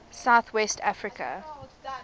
south west africa